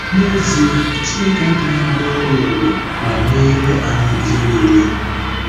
N'ezie, Chineke agaghị arụ ọrụ ebube ma meere anyị ihe niile.